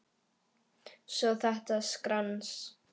Svo þetta skrans.